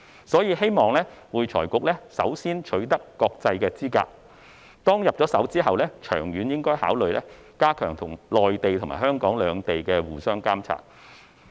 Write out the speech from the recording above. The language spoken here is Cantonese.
所以，希望會財局首先取得國際資格，其後，長遠而言應考慮加強內地與香港兩地的互相監察。